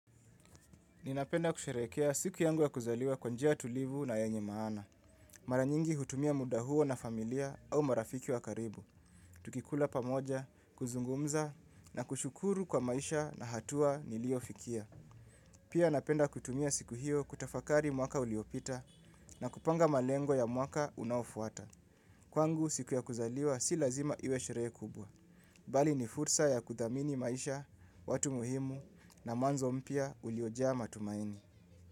Ninapenda kusherehekea siku yangu ya kuzaliwa kwa njia tulivu na yenye maana. Mara nyingi hutumia muda huo na familia au marafiki wa karibu. Tukikula pamoja, kuzungumza na kushukuru kwa maisha na hatua niliofikia. Pia napenda kutumia siku hiyo kutafakari mwaka uliopita na kupanga malengo ya mwaka unaofuata. Kwangu siku ya kuzaliwa si lazima iwe sherehe kubwa. Bali ni fursa ya kuthamini maisha, watu muhimu na mwanzo mpya uliojaa matumaini.